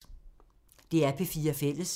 DR P4 Fælles